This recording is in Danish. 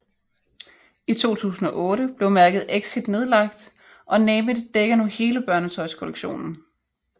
I 2008 blev mærket EXIT nedlagt og name it dækker nu hele børnetøjskollektionen